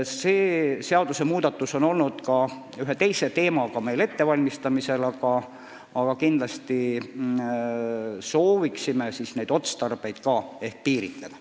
See seadusmuudatus on ettevalmistamisel ka seoses ühe teise teemaga, aga kindlasti soovime neid otstarbeid piiritleda.